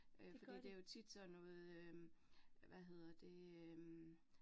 Øh fordi det jo tit sådan noget øh hvad hedder det øh